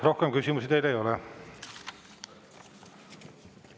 Rohkem küsimusi teile ei ole.